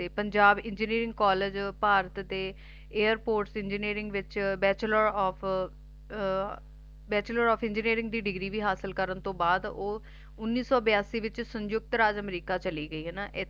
Punjab engineering college Bharat ਤੇ Airports Engineering ਚ Bacheolar Of Engineering ਦੀ ਡਿਗਰੀ ਵੀ ਹਾਸਲ ਕਰਨ ਤੋਂ ਬਾਅਦ ਓਹ ਉੱਨੀ ਸੋ ਬਯਾਸੀ ਵਿੱਚ ਸੰਯੁਕਤ ਰਾਜ ਅਮਰੀਕਾ ਚਲਿਗਈ ਹੈਨਾ